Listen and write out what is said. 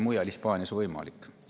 Mujal, Hispaanias, oli see võimalik.